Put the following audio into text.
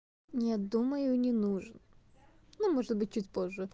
нет думаю не нужен ну может быть чуть позже